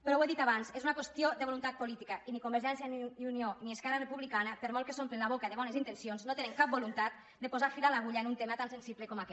però ho he dit abans és una qüestió de voluntat política i ni convergència i unió ni esquerra republicana per molt que s’omplin la boca de bones intencions no tenen cap voluntat de posar fil a l’agulla en un tema tan sensible com aquest